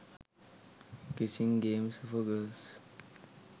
kissing games for girls